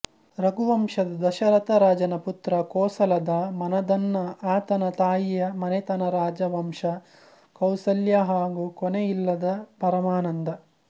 ರಘುವಂಶದ ದಶರಥ ರಾಜನ ಪುತ್ರ ಕೋಸಲದ ಮನದನ್ನಆತನ ತಾಯಿಯ ಮನೆತನರಾಜವಂಶ ಕೌಸಲ್ಯಾಹಾಗೂ ಕೊನೆಯಿಲ್ಲದ ಪರಮಾನಂದ